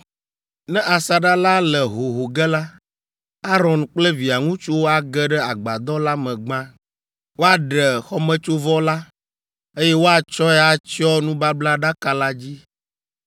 Ne asaɖa la le hoho ge la, Aron kple via ŋutsuwo age ɖe Agbadɔ la me gbã. Woaɖe xɔmetsovɔ la, eye woatsɔe atsyɔ nubablaɖaka la dzi.